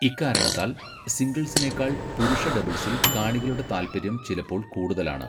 ഇക്കാരണത്താൽ, സിംഗിൾസിനേക്കാൾ പുരുഷ ഡബിൾസിൽ കാണികളുടെ താൽപര്യം ചിലപ്പോൾ കൂടുതലാണ്.